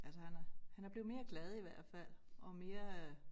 Altså han er han er blevet mere glad i hvert fald og mere øh